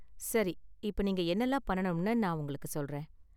சரி, இப்ப நீங்க என்னலாம் பண்ணனும்னு நான் உங்களுக்கு சொல்றேன்.